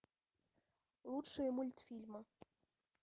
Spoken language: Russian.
лучшие мультфильмы